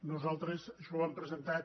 nosaltres això ho hem presentat